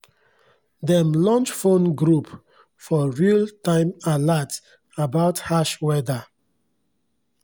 dem launch phone group for real-time alerts about harsh weda